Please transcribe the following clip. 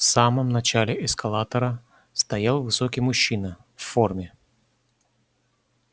в самом начале эскалатора стоял высокий мужчина в форме